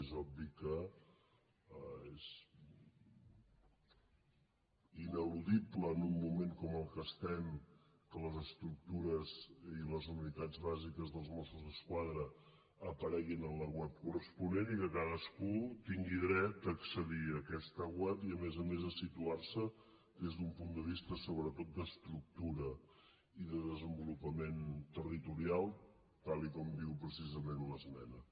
és obvi que és ineludible en un moment com el que estem que les estructures i les unitats bàsiques dels mossos d’esquadra apareguin a la web corresponent i que cadascú tingui dret a accedir a aquesta web i a més a més a situar se des d’un punt de vista sobretot d’estructura i de desenvolupament territorial tal com diu precisament l’esmena